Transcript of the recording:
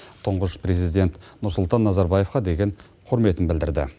тұңғыш президент нұрсұлтан назарбаевқа деген құрметін білдірді